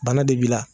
Bana de b'i la